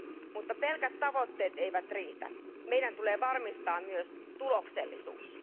Mutta pelkät tavoitteet eivät riitä, meidän tulee varmistaa myös tuloksellisuus.